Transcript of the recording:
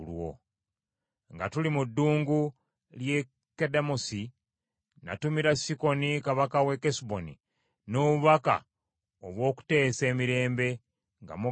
Nga tuli mu ddungu ly’e Kedemosi natumira Sikoni Kabaka w’e Kesuboni n’obubaka obw’okuteesa emirembe nga mmugamba nti,